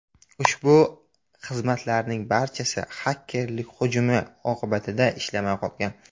Ushbu xizmatlarning barchasi xakerlik hujumi oqibatida ishlamay qolgan.